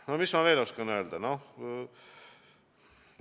No mis ma veel oskan öelda?